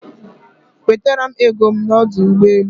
Wetara m ego m n'ọdụ ụgbọelu.